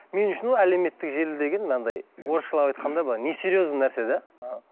мен үшін ол әлеуметтік желі деген анандай орысшалап айтқанда былай не серьезный нәрсе де іхі